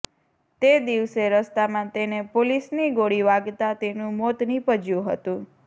તે દિવસે રસ્તામાં તેને પોલીસની ગોળી વાગતાં તેનું મોત નિપજ્યું હતું